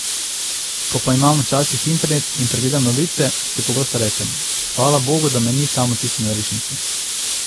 Ko pa imam včasih internet in pregledam novice, si pogosto rečem: 'Hvala bogu, da me ni tam v tisti norišnici.